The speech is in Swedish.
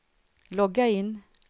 logga in